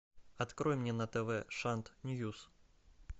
открой мне на тв шант ньюс